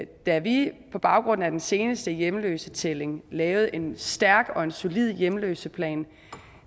da vi på baggrund af den seneste hjemløsetælling lavede en stærk og en solid hjemløseplan